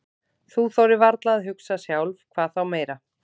Þú þorir varla að hugsa sjálf, hvað þá meira.